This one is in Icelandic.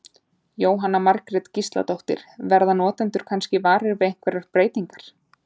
Jóhanna Margrét Gísladóttir: Verða notendur kannski varir við einhverjar breytingar?